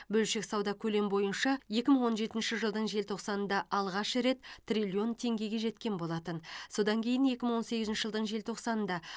бөлшек сауда көлем бойынша екі мың он жетінші жылдың желтоқсанында алғаш рет триллион теңгеге жеткен болатын содан кейін екі мың он сегізінші жылдың желтоқсанында